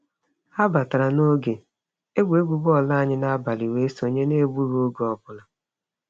Ha batara n'oge egwuregwu bọọlụ anyị n'abalị wee sonye n'egbughị oge ọbụla.